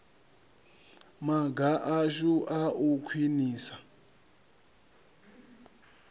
maga ashu a u khwinisa